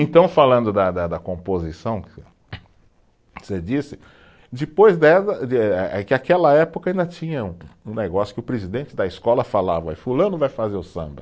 Então, falando da da da, da composição você disse, depois é que aquela época ainda tinha um, um negócio que o presidente da escola falava, fulano vai fazer o samba.